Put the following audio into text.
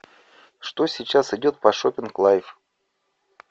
что сейчас идет по шоппинг лайф